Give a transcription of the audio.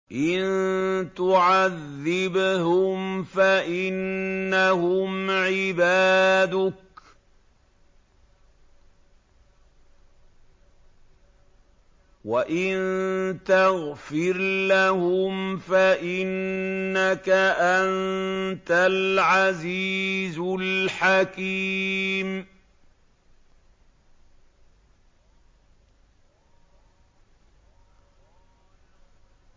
إِن تُعَذِّبْهُمْ فَإِنَّهُمْ عِبَادُكَ ۖ وَإِن تَغْفِرْ لَهُمْ فَإِنَّكَ أَنتَ الْعَزِيزُ الْحَكِيمُ